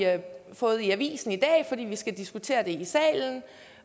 fået i avisen i dag fordi vi skal diskutere det i salen